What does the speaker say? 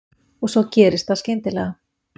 Og svo gerist það skyndilega.